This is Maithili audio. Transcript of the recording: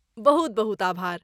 बहुत बहुत आभार।